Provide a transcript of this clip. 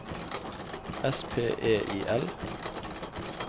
S P E I L